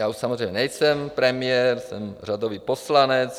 Já už samozřejmě nejsem premiér, jsem řadový poslanec.